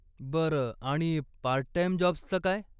बरं, आणि part time जाॅब्सचं काय?